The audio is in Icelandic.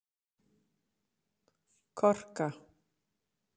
Korka